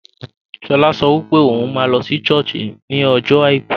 Shola sọ pé òun máa lọ sí sọ́ọ̀sì ní ọjọ́ àìkú